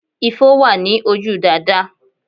Ifo wà ní ojú Dàdá